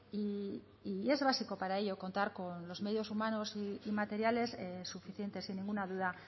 y es básico para ello contar con los medios humanos y materiales suficientes sin ninguna duda